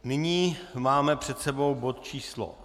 Nyní máme před sebou bod číslo